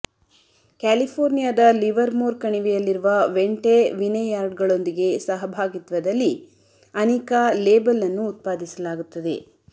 ಕ್ಯಾಲಿಫೋರ್ನಿಯಾದ ಲಿವರ್ಮೋರ್ ಕಣಿವೆಯಲ್ಲಿರುವ ವೆಂಟೆ ವಿನೆಯಾರ್ಡ್ಗಳೊಂದಿಗೆ ಸಹಭಾಗಿತ್ವದಲ್ಲಿ ಅನಿಕಾ ಲೇಬಲ್ ಅನ್ನು ಉತ್ಪಾದಿಸಲಾಗುತ್ತದೆ